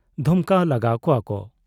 ᱫᱷᱚᱢᱠᱟᱣ ᱞᱟᱜᱟ ᱠᱚᱣᱟ ᱠᱚ ᱾